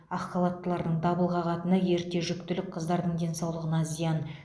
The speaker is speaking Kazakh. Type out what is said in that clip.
ақ халаттылардың дабыл қағатыны ерте жүктілік қыздардың денсаулығына зиян